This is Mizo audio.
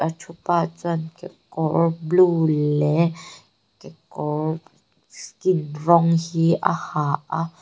thu pa chuan kekawr blue leh kekawr skin rawng hi a ha a.